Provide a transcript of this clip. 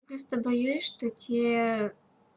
просто боюсь что те